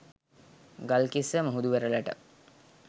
ගල්කිස්ස මුහුදු වෙරළට